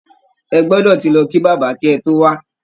Ẹ gbọdọ ti lọ kí Bàbá kí ẹ tó wá!